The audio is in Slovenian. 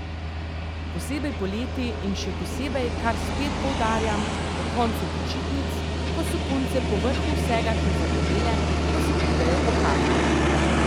Posebej poleti in še posebej, kar spet poudarjam, po koncu počitnic, ko so punce povrhu vsega še zagorele, ko se pridejo pokazat.